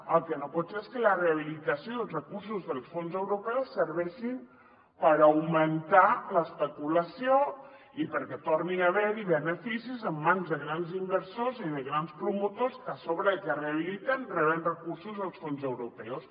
el que no pot ser és que la rehabilitació dels recursos dels fons europeus serveixi per augmentar l’especulació i perquè torni a haver hi beneficis en mans de grans inversors i de grans promotors que a sobre de que rehabiliten reben recursos dels fons europeus